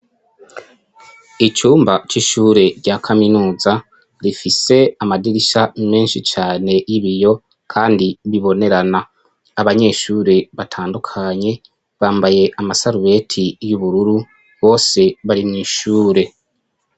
Icumba c'ishure rya kaminuza rifise amadirisha menshi cane y'ibiyo kandi bibonerana abanyeshuri batandukanye bambaye amasarubeti y'ubururu bose bari mw'ishure.